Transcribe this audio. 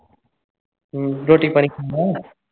ਹੂ ਰੋਟੀ ਪਾਣੀ ਖਾਧਾ ਹੈ